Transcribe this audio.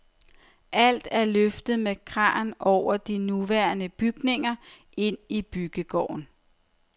Alt er løftet med kran over de nuværende bygninger ind i byggegården.